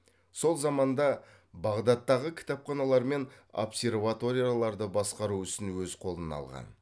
сол заманда бағдаттағы кітапханалармен обсерваторияларды басқару ісін өзі қолына алған